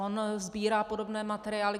On sbírá podobné materiály.